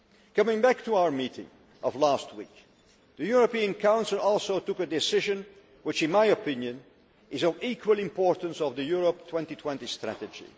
Coming back to our meeting of last week, the European Council also took a decision which, in my opinion, is of equal importance to the Europe 2020 strategy.